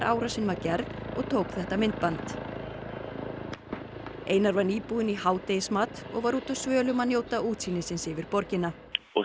árásin var gerð og tók þetta myndband einar var nýbúinn í hádegismat og var úti á svölum að njóta útsýnisins yfir borgina og